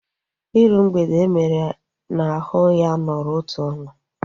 Iru mgbede emere n'ahu ya nọrọ otu ọnwa